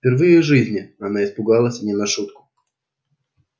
впервые в жизни она испугалась не на шутку